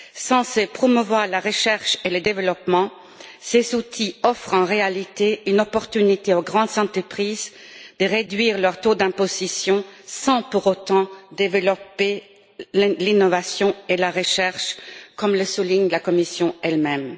Censés promouvoir la recherche et le développement, ces outils offrent en réalité une opportunité aux grandes entreprises de réduire leur taux d'imposition sans pour autant développer l'innovation et la recherche, comme le souligne la Commission elle même.